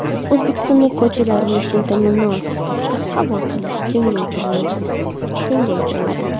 O‘zbekistonda ko‘char mulkni ta’minot sifatida qabul qilish kengaytiriladi.